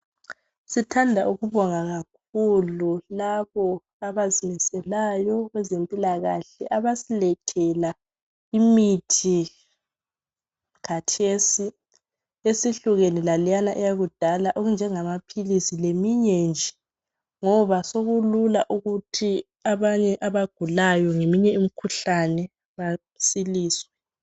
Sithanda ukubonga kakhulu kulabo abazimiselayo kwezempilakahle abasilethela imithi khathesi, esihlukene laleyana eyakudala, okunjengamaphilisi leminye nje, ngoba sekulula ukuthi abanye abagulayo ngeminye imkhuhlane basiliswe